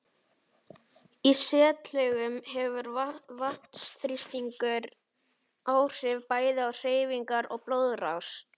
Í setlaugum hefur vatnsþrýstingur áhrif bæði á hreyfingar og blóðrás.